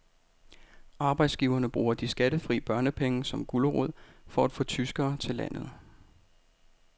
Arbejdsgiverne bruger de skattefri børnepenge som gulerod for at få tyskere til landet.